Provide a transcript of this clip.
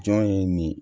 Jɔn ye nin ye